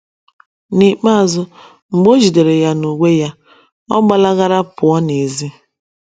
N’ikpeazụ, mgbe o ‘ jidere ya n’uwe ya, ’ ọ ‘ gbalagara pụọ n’èzí. ’